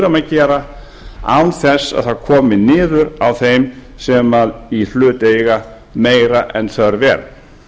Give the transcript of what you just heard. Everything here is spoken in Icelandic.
að gera án þess að það komi niður á þeim sem í hlut eiga meira en þörf er